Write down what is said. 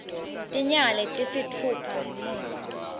tinyanga letisitfupha ngemuva